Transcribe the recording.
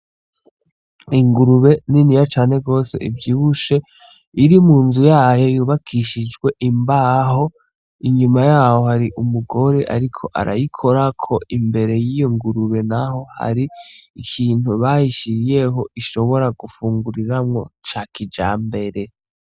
Ingurube niniya cane gose ivyibushe, iri mu nzu yayo yubakishijwe imbaho, inyuma y'aho hari umugore ariko arayikorako, imbere y'iyo ngurube naho hari ikintu bayishiriyeho ishobora gufunguriramwo ca kijambere.